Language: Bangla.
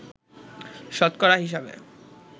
শতকরা হিসেবে